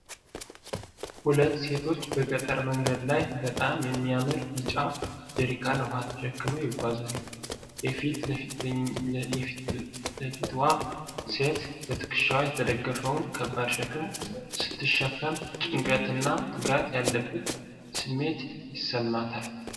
ሁለት ሴቶች በገጠር መንገድ ላይ በጣም የሚያምር ቢጫ ጀሪካን ውሃ ተሸክመው ይጓዛሉ። የፊት ለፊትዋ ሴት በትከሻዋ የተደገፈውን ከባድ ሸክም ስትሸከም ጭንቀት እና ትጋት ያለበት ስሜት ይሰማታል።